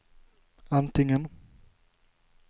antingen